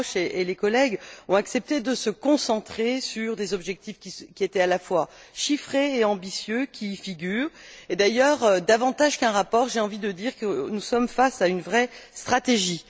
Grosch et les collègues ont accepté de se concentrer sur des objectifs qui étaient à la fois chiffrés et ambitieux et, d'ailleurs, davantage qu'un rapport, j'ai envie de dire que nous sommes face à une vraie stratégie.